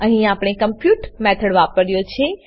અહીં આપણે compute method વાપર્યો છે